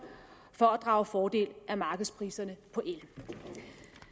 for at drage fordel af markedspriserne på el